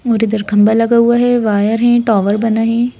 और इधर खंभा लगा हुआ है वायर है टावर बना है।